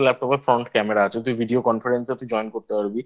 front camera আছে যদিও Video Conference তুই Join করতে পারবি।